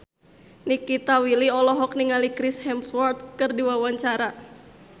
Nikita Willy olohok ningali Chris Hemsworth keur diwawancara